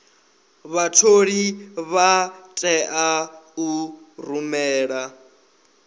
vhatholi vha tea u rumela